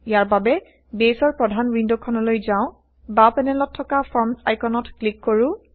ইয়াৰ বাবে বেইছৰ প্ৰধান ৱিণ্ড খনলৈ যাও বাও পেনেলত থকা ফৰ্মচ আইকনত ক্লিক কৰো